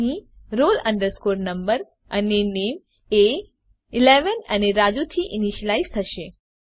અહીં roll number અને નામે એ ૧૧ અને રાજુ થી ઇનીશલાઈઝ થશે